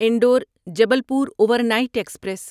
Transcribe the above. Indore Jabalpur overnight express